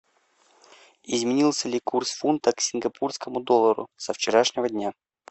изменился ли курс фунта к сингапурскому доллару со вчерашнего дня